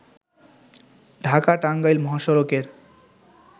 ঢাকা-টাঙ্গাইল মহাসড়কের